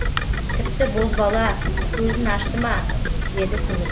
тіпті бозбала көзін ашты ма деді күміс